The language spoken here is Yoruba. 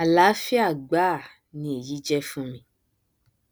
àláfíà gbáà ni èyí jẹ fún mi